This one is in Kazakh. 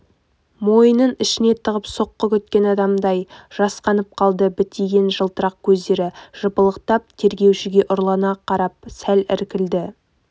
мойынын ішіне тығып соққы күткен адамдай жасқанып қалды бітиген жылтырақ көздері жыпылықтап тергеушіге ұрлана қарап сәл іркілді